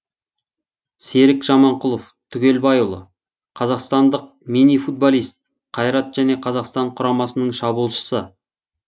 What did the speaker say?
серік жаманқұлов тугелбайұлы қазақстандық мини футболист қайрат және қазақстанның құрамасының шабуылшысы